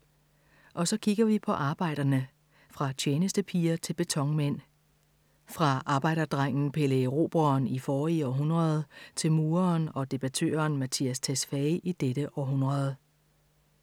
Og så kigger vi på arbejderne. Fra tjenestepiger til betonmænd. Fra arbejderdrengen Pelle Erobreren i forrige århundrede til mureren og debattøren Mattias Tesfaye i dette århundrede.